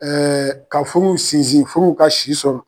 ka furu sinsin furu ka si sɔrɔ.